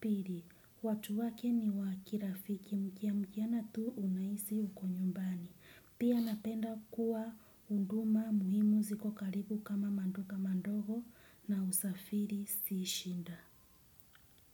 Pili, watu wake ni wa kirafiki mkiamkiana tu unahisi uko nyumbani. Pia napenda kuwa huduma muhimu ziko karibu kama maduka mandogo na usafiri si shinda.